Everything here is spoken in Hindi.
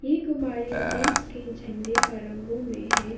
ये गुब्बारे देश के झंडे का रंगों में है।